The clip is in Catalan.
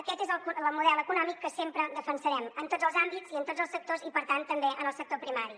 aquest és el model econòmic que sempre defensarem en tots els àmbits i en tots els sectors i per tant també en el sector primari